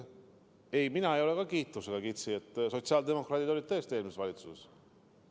Ei, ka mina ei ole kiitusega kitsi, sotsiaaldemokraadid olid tõesti eelmises valitsuses.